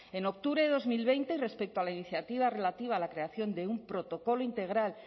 en octubre de dos mil veinte y respecto a la iniciativa relativa a la creación de un protocolo integral